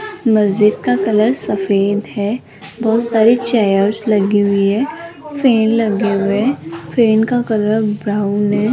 मस्जिद का कलर सफेद है बहोत सारी चेयर्स लगी हुई है फैन लगे हुए फैन का कलर ब्राउन है।